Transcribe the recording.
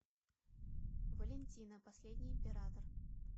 валентина последний император